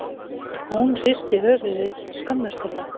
Hún hristi höfuðið skömmustuleg.